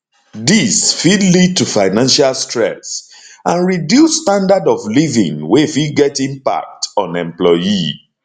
dis fit lead to financial stress and reduce standard of living wey fit get impact on employee